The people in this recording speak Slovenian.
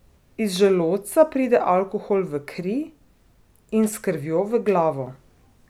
Iz želodca pride alkohol v kri in s krvjo v glavo.